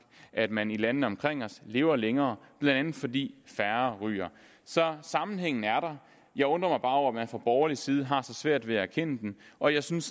at man i landene omkring os lever længere blandt andet fordi færre ryger så sammenhængen er der jeg undrer mig bare over at man fra borgerlig side har så svært ved at erkende den og jeg synes